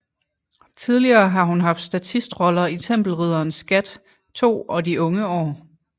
Tidligere har hun haft statistroller i Tempelriddernes skat II og De unge år